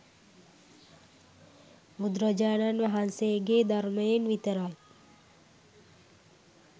බුදුරජාණන් වහන්සේගේ ධර්මයෙන් විතරයි